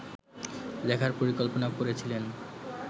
লেখার পরিকল্পনা করেছিলেন